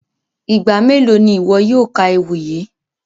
Igba melo ni iwọ yóò ka ewi yii?